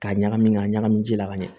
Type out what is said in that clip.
Ka ɲagami ka ɲagami ji la ka ɲa